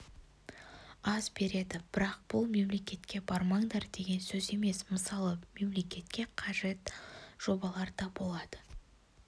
аз береді бірақ бұл мемлекетке бармаңдар деген сөз емес мысалы мемлекетке қажет жобалар да болады